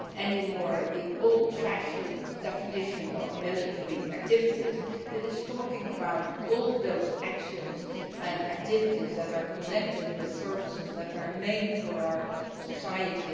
it is no longer the old fashioned definition of military activities, rather it is talking about all those actions and activities that are connected with services that are made for our society.